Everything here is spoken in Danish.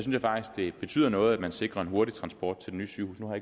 jeg faktisk det betyder noget at man sikrer en hurtig transport til det nye sygehus nu har